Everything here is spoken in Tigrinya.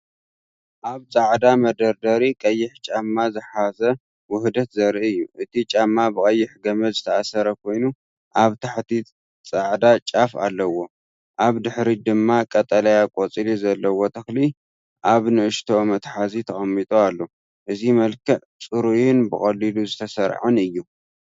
ኣብ ጻዕዳ መደርደሪ ቀይሕ ጫማ ዝሓዘ ውህደት ዘርኢ እዩ። እቲ ጫማ ብቐይሕ ገመድ ዝተኣስረ ኮይኑ ኣብ ታሕቲ ጻዕዳ ጫፍ ኣለዎ። ኣብ ድሕሪት ድማ ቀጠልያ ቆጽሊ ዘለዎ ተኽሊ ኣብ ንእሽቶ መትሓዚ ተቐሚጡ ኣሎ። እዚ መልክዕ ጽሩይን ብቐሊሉ ዝተሰርዐን እዩ።